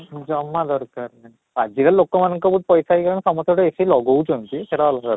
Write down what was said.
ଉଁ ଜମା ଦରକାର ନାହିଁ, ଆଜି କାଲି ଲୋକ ମାନଙ୍କର ବହୁତ ପଇସା ହେଇଗଲାଣି, ସମସ୍ତେ ଗୋଟେ AC ଲଗଉଛନ୍ତି ସେଇଟା ଅଲଗା କଥା